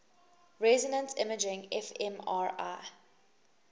resonance imaging fmri